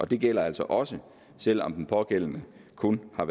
det gælder altså også selv om den pågældende kun har